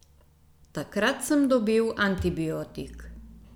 Takrat sem dobil antibiotik.